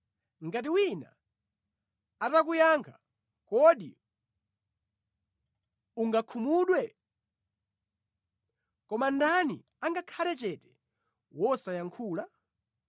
“Ngati wina atakuyankha, kodi ungakhumudwe? Koma ndani angakhale chete wosayankhula?